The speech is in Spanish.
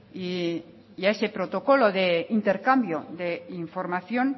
y a ese protocolo de intercambio de información